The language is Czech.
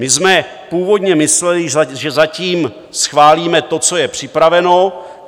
My jsme původně mysleli, že zatím schválíme to, co je připraveno.